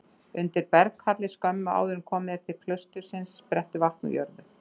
Undir berghalli skömmu áður en komið er til klaustursins sprettur vatn úr jörðu.